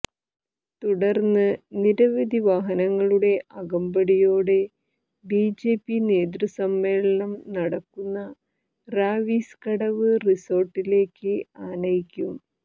തുടര്ന്ന് നിരവധി വാഹനങ്ങളുടെ അകമ്പടിയോടെ ബിജെപി നേതൃ സമ്മേളനം നടക്കുന്ന റാവിസ് കടവ് റിസോര്ട്ടിലേക്ക് ആനയിക്കും